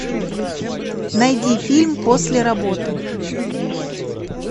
найди фильм после работы